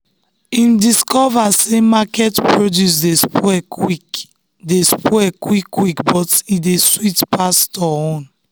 him discover say market produce dey spoil quick dey spoil quick quick but e dey sweet pass store own.